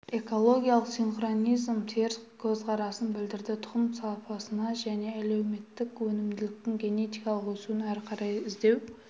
экологиялық синхронизм теріс көзқарасын білдірді тұқым сапасына және әлеуеттік өнімділіктің генетикалық өсуін әрі қарай іздеу